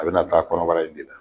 A bɛna taa kɔnɔbara in de la